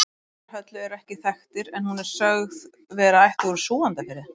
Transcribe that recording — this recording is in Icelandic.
Foreldrar Höllu eru ekki þekktir en hún er sögð vera ættuð úr Súgandafirði.